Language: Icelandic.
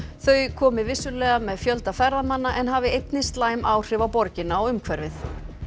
þau komi vissulega með fjölda ferðamanna en hafi einnig slæm áhrif á borgina og umhverfið